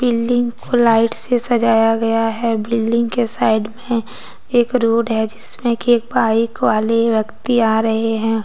Building को light से सजाया गया है बिल्डिंग के साइड में एक रोड है जिसमें की एक बाइक वाले व्यक्ति आ रहे हैं।